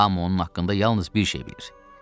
Hamı onun haqqında yalnız bir şey bilir.